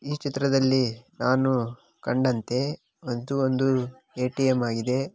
ಈ ಚಿತ್ರದಲ್ಲಿ ನಾನು ಕಂಡಂತೆ ಅದು ಒಂದು ಎ.ಟಿ.ಎಂ ಆಗಿದೆ.